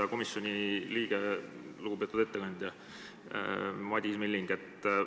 Hea komisjoni liige, lugupeetud ettekandja Madis Milling!